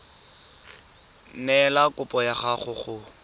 neela kopo ya gago go